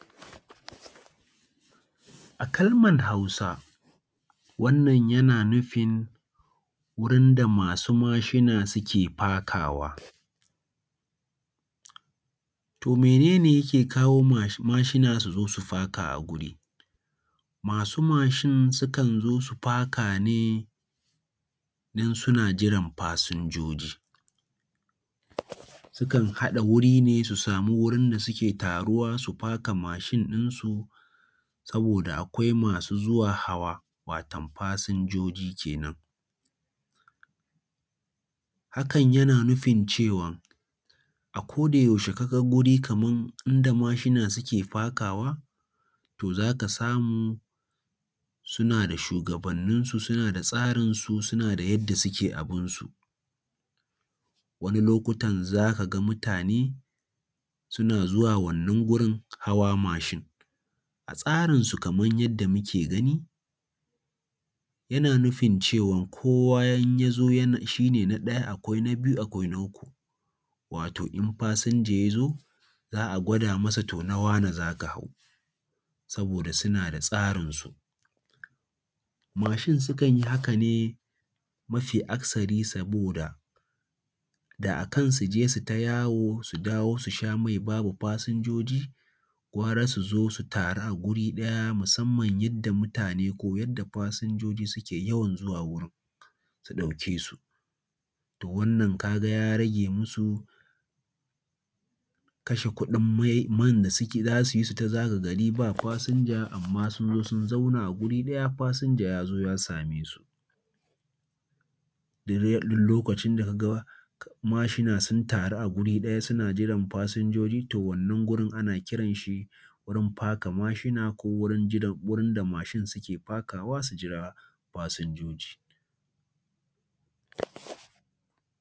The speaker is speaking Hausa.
A kalmar Hausa, wannan yana nufin wurin da masu mashina suke fakawa. To mene ne yake kawo mashina su faka a wuri? Masu mashin sukan zo su faka ne don suna jiran fasinjoji. Sukan haɗa wuri ne su samu wurin da suke taruwa su faka mashin ɗinsu saboda akwai masu zuwa hawa, watam fasinjoji kenan. Hakan yana nufin cewa a ko da yaushe ka ga guri kaman inda mashina suke fakawa, to za ka samu suna da shugabanninsu suna da tsarinsu, suna da yadda suke abin su. Wani lokutan za ka ga mutane suna zuwa wannan gurin hawa mashin. A tsarinsu kaman yadda muke gani, yana nufin cewan kowa in ya zo yan shi ne na ɗaya, akwai na biyu, akwai na uku, wato in fasinja ya zo za a gwada masa na wane za ka hau, saboda suna da tsarinsu. Mashin sukan yi haka ne mafi akasari saboda da akan su je su yi ta yawo su dawo su sha mai babu fasinjoji gara su zo su taru a guri ɗaya musamman yadda mutane ko yadda fasinjoji suke yawan zuwa wurin su ɗauke su. Wannan ka ga ya rage musu kashi kuɗin mai, man da za su yi su yi ta zaga gari ba fasinja amma sun zo sun zauna a guri ɗaya fasinja ya zo ya same su. Duk dai lokacin da ka ga mashina sun taru a guri ɗaya suna jiran fasinjoji, to wannan gurin ana kiran wurin faka mashina ko wurin jida wurin da mashin suke fakawa su jira fasinjoji.